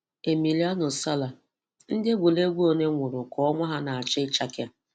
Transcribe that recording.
Emiliano Sala: Ndị egwuregwu ole nwụrụ ka ọnwa ha na-achọ ịchake?